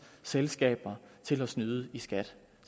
selskaber til at snyde i skat